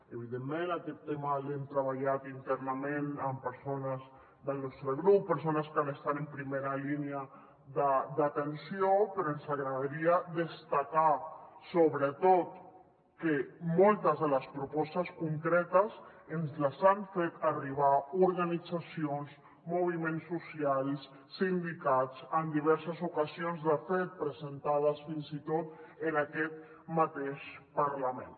evidentment aquest tema l’hem treballat internament amb persones del nostre grup persones que han estat en primera línia d’atenció però ens agradaria destacar sobretot que moltes de les propostes concretes ens les han fet arribar organitzacions moviments socials sindicats en diverses ocasions de fet presentades fins i tot en aquest mateix parlament